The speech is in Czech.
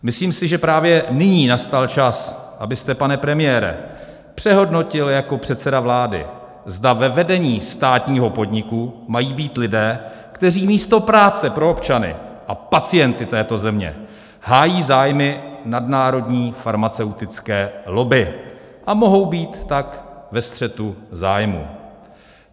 Myslím si, že právě nyní nastal čas, abyste, pane premiére, přehodnotil jako předseda vlády, zda ve vedení státního podniku mají být lidé, kteří místo práce pro občany a pacienty této země hájí zájmy nadnárodní farmaceutické lobby a mohou být tak ve střetu zájmů.